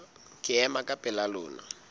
ke ema ka pela lona